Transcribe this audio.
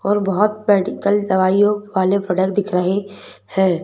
और बहुत मेडिकल दवाइयों वाले प्रोडक्ट दिख रहे हैं।